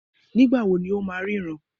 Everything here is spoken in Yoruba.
Nígbà wo ni ó máa ríran?